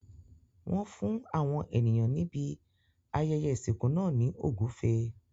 Wọ́n fún àwọn ènìyàn níbi ayẹyẹ ìsìnkú náà ní ogufe.